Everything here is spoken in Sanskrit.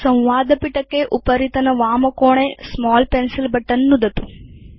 संवादपिटके उपरितनवामकोणे स्मॉल पेन्सिल बटन नुदतु